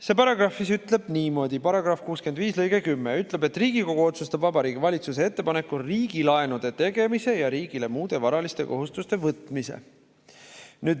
See paragrahv ütleb niimoodi –§ 65 lõige 10 –, et Riigikogu otsustab Vabariigi Valitsuse ettepanekul riigilaenude tegemise ja riigile muude varaliste kohustuste võtmise.